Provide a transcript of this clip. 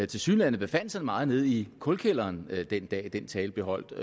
tilsyneladende befandt sig meget nede i kulkælderen den dag den tale blev holdt